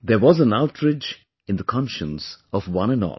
There was an outrage in the conscience of one and all